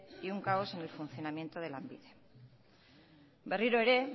y un caos en el funcionamiento de lanbide berriro ere